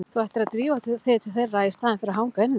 Þú ættir að drífa þig til þeirra í staðinn fyrir að hanga inni.